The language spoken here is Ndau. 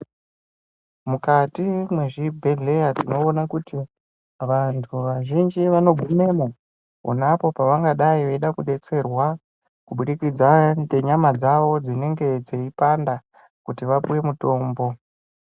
Mukati mezvibhedhleya tinoona kuti vantu vazhinji vanogumemo uneapo pavangadai veida kudetserwa kubudikidza ngenyama dzawo dzinenge dzeipanda kuti vapiwe mutombo .